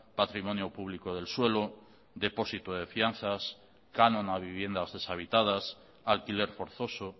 patrimonio público del suelo depósito de fianzas canon a viviendas deshabitadas alquiler forzoso